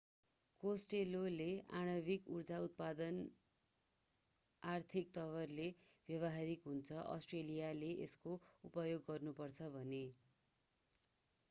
Costello costelloले आणविक ऊर्जा उत्पादन आर्थिक तवरले व्यवहारिक हुन्छ अष्ट्रेलियाले यसको उपयोग गर्नु पर्छ भने।